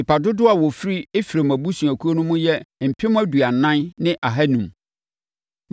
Nnipa dodoɔ a wɔfiri Efraim abusuakuo no mu yɛ mpem aduanan ne ahanum (40,500).